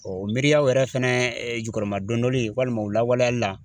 Ɔɔ o miiriyaw yɛrɛ fɛnɛ jukɔrɔmadon donli walima u lawaleyali la